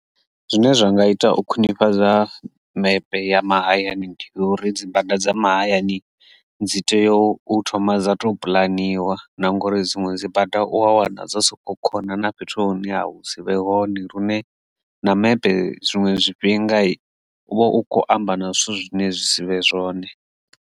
Zwine zwa nga ita u khwinifhadza mepe ya mahayani uri dzi bada dza mahayani dzi tea u thoma dza to puḽaniwaho na ngori dziṅwe dzi bada u a wana dza soko khona na fhethu hune ha sivhe hone lune na mepe zwiṅwe zwifhinga u vha u kho amba na zwithu zwine zwi sivhe zwone.